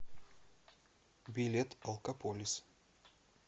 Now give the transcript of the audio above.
билет алкополис